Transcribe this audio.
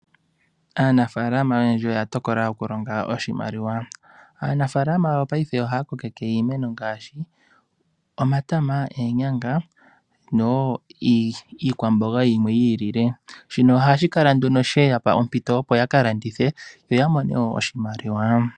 Aanafaalama oyendji oya tokola okulonga oshimaliwa. Aanafaalama yopaife ohaya kokeke iimeno ngaashi omatama, oonyanga noshowo iikwamboga yimwe yi ilile. Shino ohashi kala nduno she ya pa ompito opo ya ka landithe yo ya mone wo oshimaliwa.